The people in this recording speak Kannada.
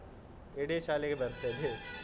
ಇಡೀ ಶಾಲೆಗೆ ಬರ್ತದೆ.